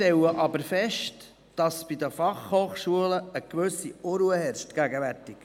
Wir stellen jedoch fest, dass in der BFH gegenwärtig eine gewisse Unruhe herrscht.